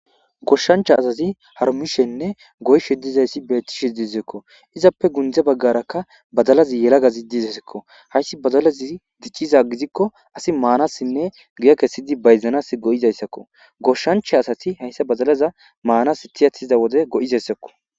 Goshshancha azazi harmishenne goyshe dizayssi beettishe idizekko izappe gundze baggarakka badalazi yelaga ziddizesekko hayssi bazalazi dicciza gizikko asi maanassinne guya kessidi bayzanas go'izayssakko goshshancha asati hayssa bazalaza maanas tiyatiza wode go'izayssakko